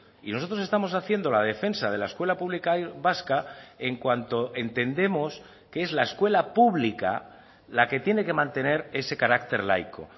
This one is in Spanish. y nosotros estamos haciendo la defensa de la escuela pública vasca en cuanto entendemos que es la escuela pública la que tiene que mantener ese carácter laico